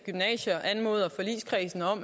gymnasierne